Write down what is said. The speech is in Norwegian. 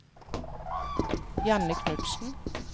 Janne Knutsen